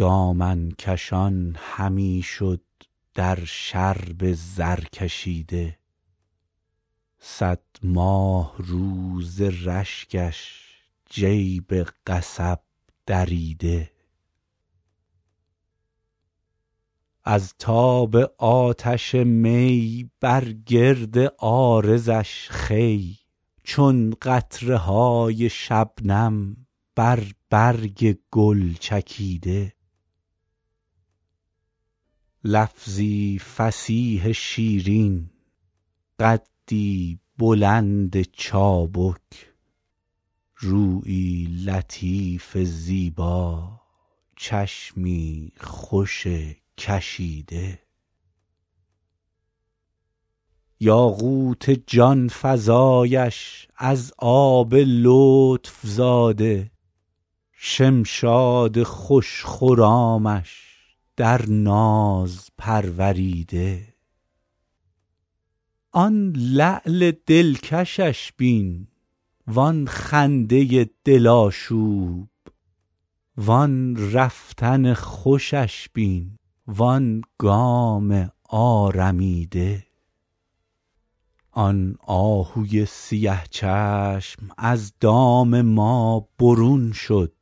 دامن کشان همی شد در شرب زرکشیده صد ماهرو ز رشکش جیب قصب دریده از تاب آتش می بر گرد عارضش خوی چون قطره های شبنم بر برگ گل چکیده لفظی فصیح شیرین قدی بلند چابک رویی لطیف زیبا چشمی خوش کشیده یاقوت جان فزایش از آب لطف زاده شمشاد خوش خرامش در ناز پروریده آن لعل دلکشش بین وآن خنده دل آشوب وآن رفتن خوشش بین وآن گام آرمیده آن آهوی سیه چشم از دام ما برون شد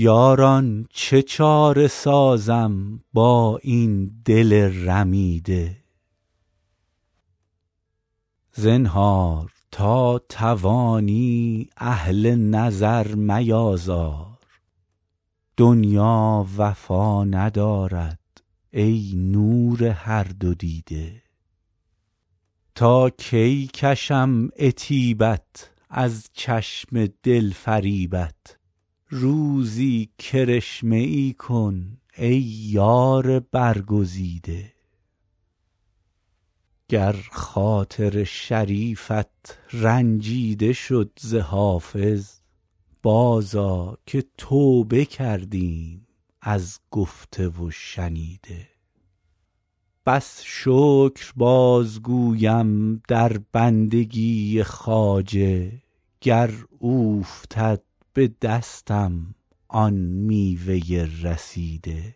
یاران چه چاره سازم با این دل رمیده زنهار تا توانی اهل نظر میآزار دنیا وفا ندارد ای نور هر دو دیده تا کی کشم عتیبت از چشم دل فریبت روزی کرشمه ای کن ای یار برگزیده گر خاطر شریفت رنجیده شد ز حافظ بازآ که توبه کردیم از گفته و شنیده بس شکر بازگویم در بندگی خواجه گر اوفتد به دستم آن میوه رسیده